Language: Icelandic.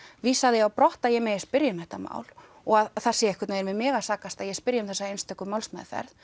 vísaði því á brott að ég megi spyrja um þetta mál og það sé einhvern veginn við mig að sakast að ég spyrji um þessa einstöku málsmeðferð